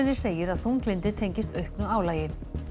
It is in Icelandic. segir að þunglyndið tengist auknu álagi